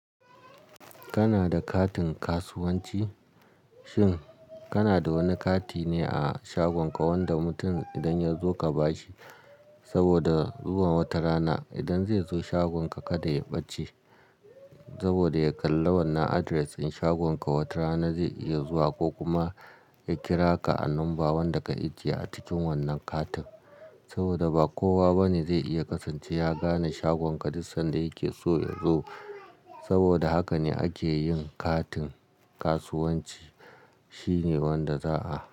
Kana da katin kasuwanci? Shin kana da wani kati ne a shagon ka wanda mutum idan ya zo ka bashi saboda zuwa wata rana idan zai zo shagonka kada ya ɓace saboda ya kalli wannan address in shagonka wata rana zai iya zuwa ko kuma ya kira ka a number wanda ka ajiye a cikin wannan katin saboda ba kowa bane zai iya kasance ya gane shagon ka duk sanda yake so ya zo. Saboda haka ne ake yin katin kasuwanci. Shi ne wanda za a.